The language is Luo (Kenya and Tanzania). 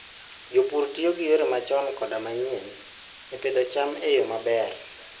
Jopur tiyo gi yore machon koda manyien e pidho cham e yo maber.